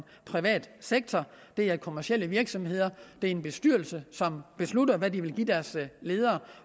privat sektor det er kommercielle virksomheder hvor er en bestyrelse som beslutter hvad de vil give deres ledere